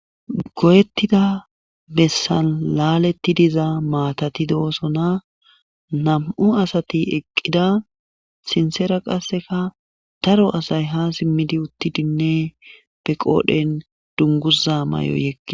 goyettida bessan laaletti diza maatati doosona nam7u asati eqqida sinthera qasseka daro asay ha simmidi uttidinne beqoodhen dunguza may7o yegi